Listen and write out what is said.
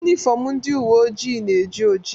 Yunifọmụ ndị uwe ojii na-eji oji.